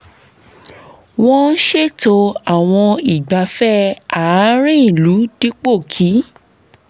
wọ́n ṣètò àwọn ìgbáfẹ̀ àárín ìlú dípò kí